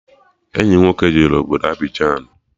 Enyi m nwoke jere obodo Abịjan